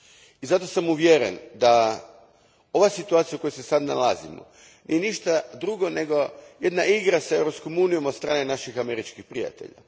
I zato sam uvjeren da je ova situacija u kojoj se sad nalazimo ništa drugo nego jedna igra s Europskom unijom od strane naših američkih prijatelja.